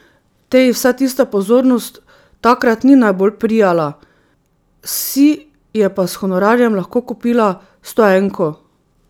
Teji vsa tista pozornost takrat ni najbolj prijala, si je pa s honorarjem lahko kupila stoenko.